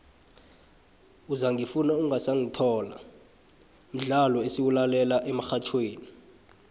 uzangifuna ungasangithola mdlolo esiwulalela emxhatjhweni